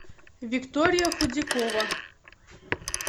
виктория худякова